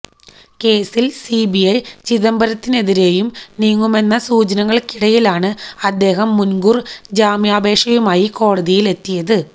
കേസില് സിബിഐ ചിദംബരത്തിനെതിരെയും നീങ്ങുന്നുവെന്ന സൂചനകള്ക്കിടയിലാണ് അദ്ദേഹം മുന്കൂര് ജാമ്യാപേക്ഷയുമായി കോടതിയിലെത്തിയത്